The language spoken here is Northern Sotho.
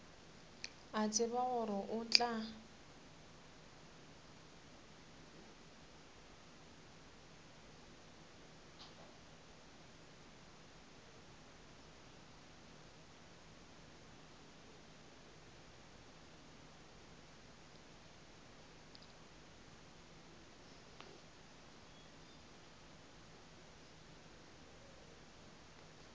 a tseba gore o tla